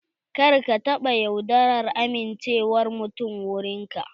Kar ka taɓa yaudarar amincewar mutum wurin ka.